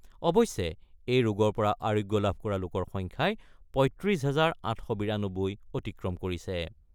অৱশ্যে , এই ৰোগৰ পৰা আৰোগ্য লাভ কৰা লোকৰ সংখ্যাই ৩৫ হাজাৰ ৮৯২ অতিক্ৰম কৰিছে ।